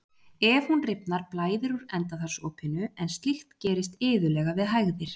ef hún rifnar blæðir úr endaþarmsopinu en slíkt gerist iðulega við hægðir